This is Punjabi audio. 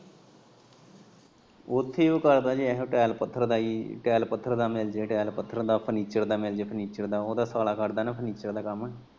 ਉੱਥੇ ਐਹੋ ਕਰਦਾ ਹੀ ਟੈਲ ਪੱਥਰ ਦਾ ਟੈਲ ਪੱਥਰ ਦਾ ਮਿਲਜੇ ਟੈਲ ਪੱਥਰ ਦਾ ਫਰਨੀਚਰ ਦਾ ਮਿਲਜੇ ਫਰਨੀਚਰ ਦਾ ਉਦਾ ਸਾਲਾ ਕਰਦਾ ਫਰਨੀਚਰ ਦਾ ਕੰਮ।